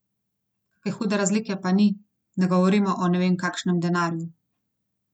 Kake hude razlike pa ni, ne govorimo o ne vem kakšnem denarju.